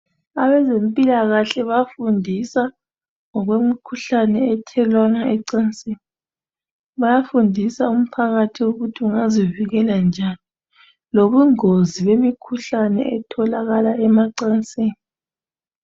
Abezempilakahle bayafundisa ngokwemkhuhlane ethelelwana ecansini. Bayafundisa umphakathi ukuthi ungazivikela njani lobungozi bemikhuhlane etholakala emacansini